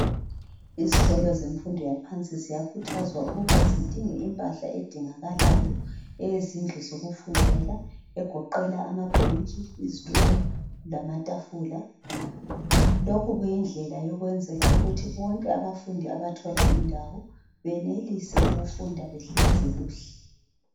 Izikolo zemfundo yaphansi ziyakhuthazwa ukuba zidinge impahla edingakalayo eyezindlu zokufundela egoqela amabhentshi izitulo lamatafula. Lokhu kuyindlela yokwenzela ukuthi bonke abafundi abathola indawo benelise ukufunda behlezi kuhle.